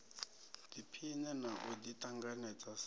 ḓiphine na u ḓiṱanganedza sa